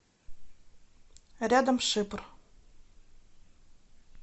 рядом шипр